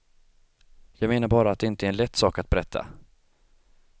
Jag menar bara att det inte är en lätt sak att berätta.